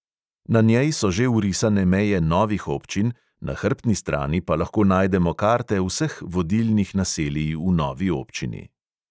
Na njej so že vrisane meje novih občin, na hrbtni strani pa lahko najdemo karte vseh vodilnih naselij v novi občini.